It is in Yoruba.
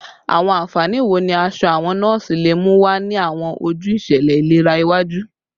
Awọn anfani wo ni aṣọ awọn nọọsi le mu wa ni awọn oju iṣẹlẹ ilera iwaju?